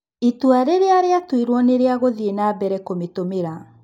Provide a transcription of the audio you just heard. Itua rĩrĩa rĩratuirwo nĩ rĩa gũthiĩnambere kũmitũmira.